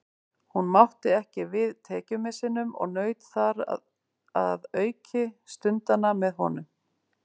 Hún mátti ekki við tekjumissinum og naut þar að auki stundanna með honum.